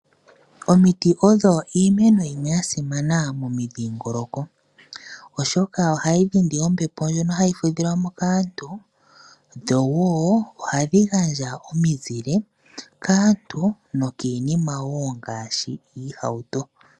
Omiti odhasimana momidhingoloko oshoka ohadhi dhindi ombepo ndjoka hayi fudhilwa mo kaantu ndho ohadhi gandja omizile kaantu nokiinima ngaashi iihauto.